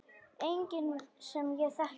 Enginn sem ég þekki.